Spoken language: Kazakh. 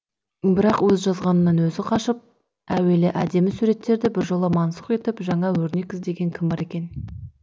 бірақ өз жазғанынан өзі қашқан әуелгі әдемі суреттерді біржола мансұқ етіп жаңа өрнек іздеген кім бар екен